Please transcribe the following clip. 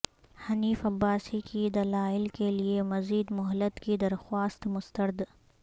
حنیف عباسی کی دلائل کیلئے مزید مہلت کی درخواست مسترد